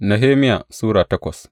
Nehemiya Sura takwas